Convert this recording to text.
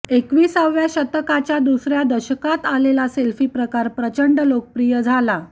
एकविसाव्या शतकाच्या दुसऱ्या दशकात आलेला सेल्फी प्रकार प्रचंड लोकप्रिय झाला